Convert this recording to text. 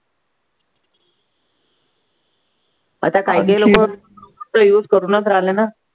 आता कायदे लोकं ते use करूनच राहिले नं